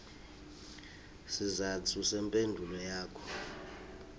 sizatfu semphendvulo yakho